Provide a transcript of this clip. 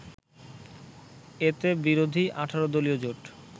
এতে বিরোধী ১৮ দলীয় জোট